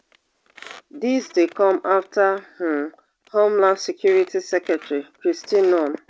dis dey come afta um homeland security secretary kristi noem